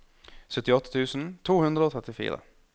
syttiåtte tusen to hundre og trettifire